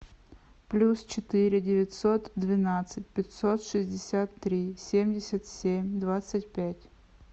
плюс четыре девятьсот двенадцать пятьсот шестьдесят три семьдесят семь двадцать пять